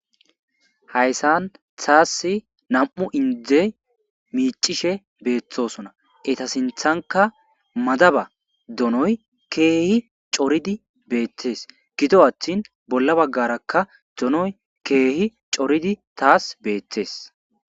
Hayssan tasse nammu' indde micishe bethosonna. Etta sinthanikka madaba donoyyi keehi coridi bethess gidi attin bolla baggarakka donoyi keehi coridi tass bethess.